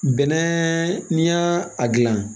Bɛnɛ n'i y'a a gilan